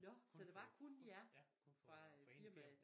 Nåh så der var kun jer fra øh firmaet